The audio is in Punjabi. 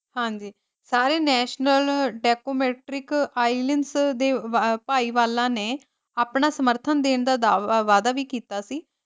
ਹਾਂਜੀ ਸਾਰੇ ਨੈਸ਼ਨਲ ਡੈਕੋਮੈਟ੍ਰਿਕ ਦੇ ਭਾਈ ਵਾਲਾ ਨੇ ਆਪਣਾ ਸਮਰਥਨ ਦੇਣ ਦਾ ਦਾਵਾ ਵਾਦਾ ਵੀ ਕੀਤਾ ਸੀ ।